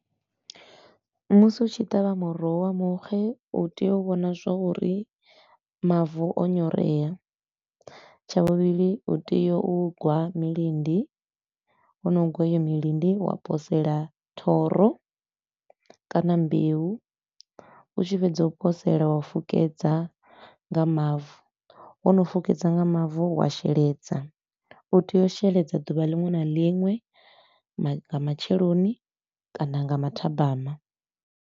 Musi u tshi ṱavha muroho wa muxe u tea u vhona zwa uri mavu o nyorea. Tsha vhuvhili u tea u gwa milindi, wo no gwa heyo milindi wa posela thoro kana mbeu. U tshi fhedza u posela wa fukedza nga mavu, wo no fukedza nga mavu wa sheledza. U tea u sheledza duvha linwe na linwe, nga matsheloni kana nga mathabama.